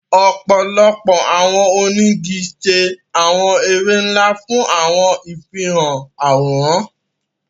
Ọpọlọpọ awọn onigi ṣe awọn ere nla fun awọn ifihan aworan